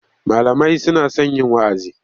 Malamai suna son yin wa'azi.